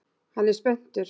Hann er spenntur.